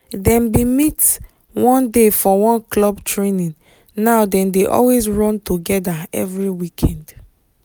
dem bin meet one day for one club training now dem dey always run together every weekend